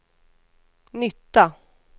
nytta